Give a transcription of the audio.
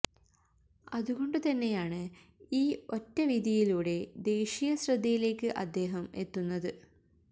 അതുകൊണ്ട് തന്നെയാണ് ഈ ഒറ്റ വിധിയിലൂടെ ദേശീയ ശ്രദ്ധയിലേക്ക് അദ്ദേഹം എത്തുന്നത്